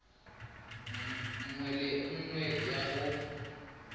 nngwe le nngwe ya go